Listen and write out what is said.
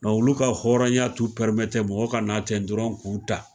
Nɔn olu ka hɔrɔnya t'u pɛrimete mɔgɔ ka na ten dɔrɔn k'u ta